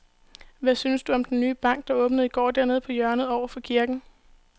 Hvad synes du om den nye bank, der åbnede i går dernede på hjørnet over for kirken?